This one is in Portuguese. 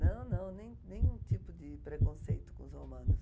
Não, não, nem nenhum tipo de preconceito com os romanos.